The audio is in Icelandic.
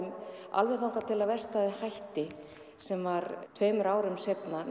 alveg þangað til að verkstæðið hætti sem var tveimur árum seinna